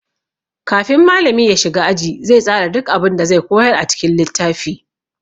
Kafin malami ya shiga aji, zai tsara duk abun da zai koyar a cikin littafi.